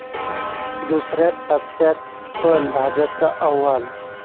दुसऱ्या टप्प्यात पण भाजपचं अव्वल!